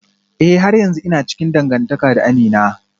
Eh har yanzu ina cikin dangantaka da Amina